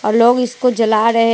लोग इसको जला रहे हैं।